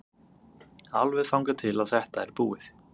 Alveg þangað til að þetta er búið.